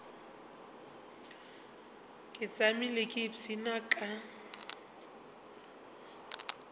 ke tšamile ke ipshina ka